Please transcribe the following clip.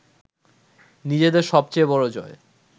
নিজেদের সবচেয়ে বড় জয়